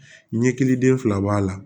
Ɲɛkiliden fila b'a la